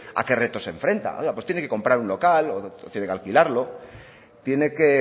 a qué retos se enfrenta pues tiene que comprar un local o tiene que alquilarlo tiene que